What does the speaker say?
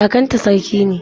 Kakanta sarki ne.